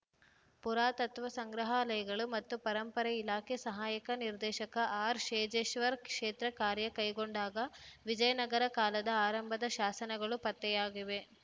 ಪುರಾತತ್ವ ಸಂಗ್ರಹಾಲಯಗಳು ಮತ್ತು ಪರಂಪರೆ ಇಲಾಖೆ ಸಹಾಯಕ ನಿರ್ದೇಶಕ ಆರ್‌ಶೇಜೇಶ್ವರ್‌ ಕ್ಷೇತ್ರ ಕಾರ್ಯ ಕೈಗೊಂಡಾಗ ವಿಜಯನಗರ ಕಾಲದ ಆರಂಭದ ಶಾಸನಗಳು ಪತ್ತೆಯಾಗಿವೆ